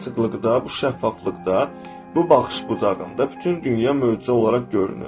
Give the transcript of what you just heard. Bu açıqlıqda, bu şəffaflıqda, bu baxış bucağında bütün dünya möcüzə olaraq görünür.